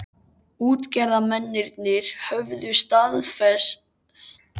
Útgerðarmennirnir höfðu starfsemi sína á tiltölulega afmörkuðu svæði.